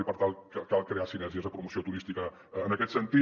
i per tant cal crear sinergies de promoció turística en aquest sentit